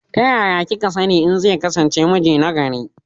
Ta yaya kika sani in zai kasance miji na gari